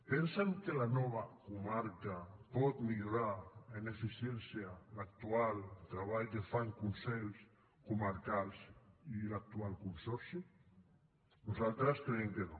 pensen que la nova comarca pot millorar en eficiència l’actual treball que fan consells comarcals i l’actual consorci nosaltres creiem que no